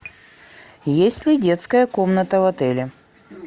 есть ли детская комната в отеле